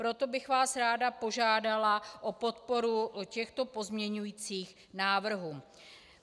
Proto bych vás ráda požádala o podporu těchto pozměňujících návrhů.